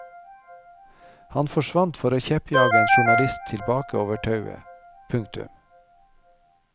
Han forsvant for å kjeppjage en journalist tilbake over tauet. punktum